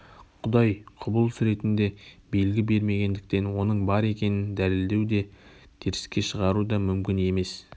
құдай құбылыс ретінде белгі бермегендіктен оның бар екенін дәлелдеу де теріске шығару да мүмкін емес